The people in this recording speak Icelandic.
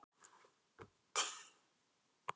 Frekara lesefni á Vísindavefnum: Hvað er vísindaheimspeki?